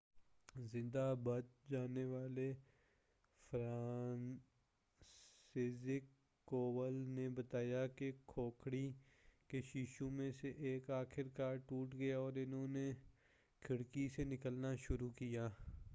زندہ بچ جانے والے فرانسسزیک کوول نے بتایا کہ کھڑکی کے شیشوں میں سے ایک آخر کار ٹوٹ گیا اور انھوں نے کھڑکی سے نکلنا شروع کیا